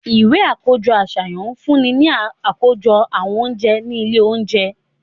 Iwe akojọ aṣayan ǹ funni ni akojọ awọn ounjẹ ni ile ounjẹ